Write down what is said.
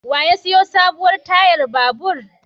Wa ya sayo sabuwar tayar babur?